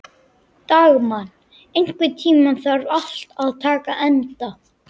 Dagmann, einhvern tímann þarf allt að taka enda.